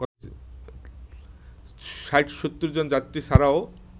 ৬০-৭০ জন যাত্রী ছাড়াও